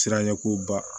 Siranɲɛko ba